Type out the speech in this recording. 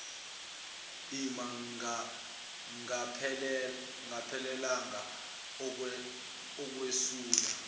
ima ingaphelelanga ukwesula